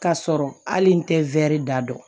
K'a sɔrɔ hali n tɛ da dɔn